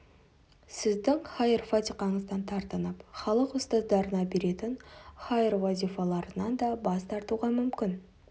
сіздің хайыр фатиқаңыздан тартынып халық ұстаздарына беретін хайыр-уазифаларынан да бас тартуға мүмкін